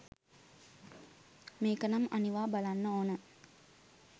මේකනම් අනිවා බලන්න ඕන